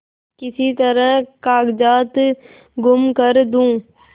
किसी तरह कागजात गुम कर दूँ